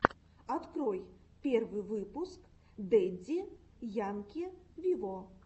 открой первый выпуск дэдди янки виво